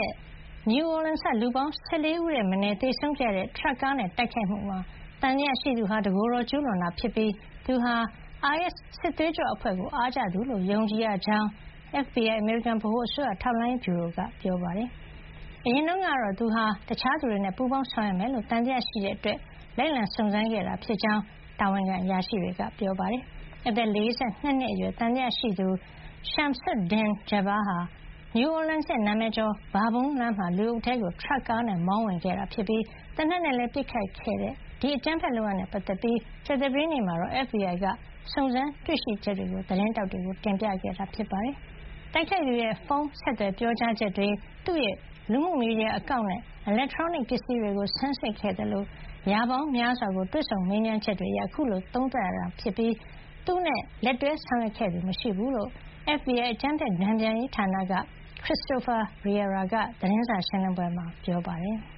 ရက် New Orleans က လူပေါင်း ၁၄ ဦးထက်မနည်း သေဆုံးခဲ့ရတဲ့ ထရပ်ကားနဲ့ တိုက်ခိုက်မှုမှာ သံသယရှိသူဟာ တကိုယ်တော် ကျူးလွန်တာ ဖြစ်ပြီး သူဟာ အိုင်အက်စ် စစ်သွေးကြွ အဖွဲ့ကိုအားကျသူလို့ ယုံကြည် ရကြောင်း FBI အမေရိကန် ဗဟိုအစိုးရ ထောက်လှမ်းရေးဗျူရိုက ပြောပါတယ်။ အရင်တုန်းကတော့သူဟာ တခြားသူတွေနဲ့ ပူးပေါင်းဆောင်ရွက်မယ်လို့ သံသယရှိတဲ့ အတွက် လိုက်လံ စုံစမ်းခဲ့တာဖြစ်ကြောင်း တာဝန်ခံ အရာရှိတွေက ပြောပါတယ်။ အသက် ၄၂ နှစ် အရွယ် သံသယရှိသူ Shamsud-Din Jabbar ဟာ New Orleans ရဲ့ နာမည်ကျော် ဘာဘွန်းလမ်းမှာ လူအုပ်ထဲကို ထရပ်ကားနဲ့ မောင်းဝင်ခဲ့ပြီး သေနတ်နဲ့ ပစ်ခတ်ခဲ့တဲ့ ဒီအကြမ်းဖက်လုပ်ရပ်နဲ့ ပတ်သက်ပြီး ကြာသပတေးနေ့ မှာတော့ FBI က စုံစမ်းတွေ့ရှိချက်တွေကို သတင်းထောက်တွေကို တင်ပြခဲ့တာပါ။ တိုက်ခိုက်သူရဲ့ ဖုန်းဆက်သွယ် ပြောကြားချက်တွေ၊ သူ့ရဲ့ လူမှုမီဒီယာ အကောင့်နဲ့ အီလက်ထရောနစ် ပစ္စည်းတွေကို ဆန်းစစ်ခဲ့သလို ရာပေါင်းများစွာကို တွေ့ဆုံမေးမြန်းချက်တွေ အရ အခုလို သုံးသပ်ရတာ ဖြစ်ပြီး၊ သူနဲ့ လက်တွဲ ဆောင်ရွက်ခဲ့သူ မရှိဘူးလို့ FBI အကြမ်းဖက်တန်ပြန်ရေး ဌာန က Christopher Raia က သတင်းစာ ရှင်းလင်းပွဲမှာ ပြောပါတယ်။